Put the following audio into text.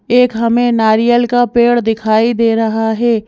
एक हमें नारियल का पेड़ दिखाई दे रहा है।